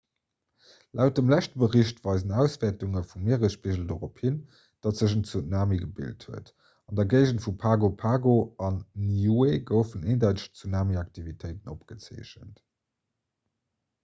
laut dem leschte bericht weisen auswäertunge vum mieresspigel dorop hin datt sech en tsunami gebilt huet an der géigend vu pago pago an niue goufen eendeiteg tsunamiaktivitéiten opgezeechent